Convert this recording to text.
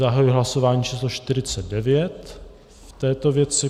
Zahajuji hlasování číslo 49 v této věci.